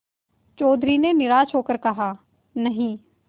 चौधरी ने निराश हो कर कहानहीं